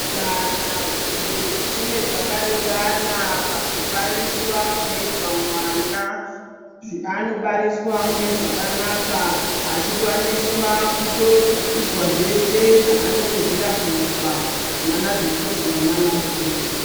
Kana zviro zvichinge zvaka ringana paku bariswa kunoitwa mwana ano bariswa mune zvakanaka achi kwaniswa kutoitwa zvese zvaano kodzera kuitwa nana dhokotera nana mukoti.